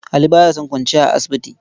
Ali ba ya son kwanciya a asibiti.